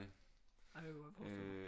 Det kan jeg godt forestille mig